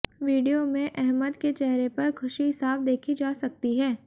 video में अहमद के चेहरे पर खुशी साफ देखी जा सकती है